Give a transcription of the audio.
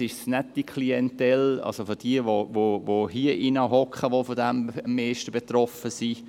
Interessanterweise ist es nicht die Klientel, die hier drin sitzt, die davon am meisten betroffen ist.